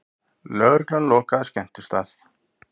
Lögregla lokaði skemmtistað